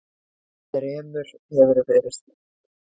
Þremur hefur verið sleppt